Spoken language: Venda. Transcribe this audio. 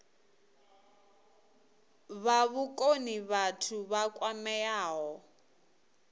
fha vhukoni vhathu vha kwameaho